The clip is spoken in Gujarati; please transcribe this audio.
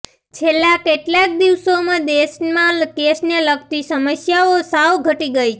છેલ્લા કેટલાક દિવસોમાં દેશમાં કેશને લગતી સમસ્યાઓ સાવ ઘટી ગઈ છે